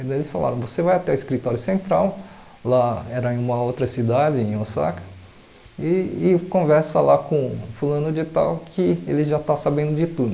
E daí eles falaram, você vai até o escritório central, lá era em uma outra cidade, em Osaka, e e conversa lá com fulano de tal que ele já está sabendo de tudo.